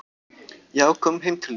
"""Já, komum heim til þín."""